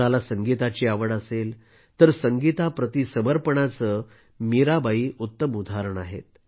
कुणाला संगीताची आवड असेल तर संगीताप्रती समर्पणाचे त्या उत्तम उदाहरण आहेत